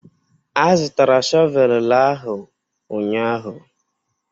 A zụtara shọvel la ahu ụnyahụ.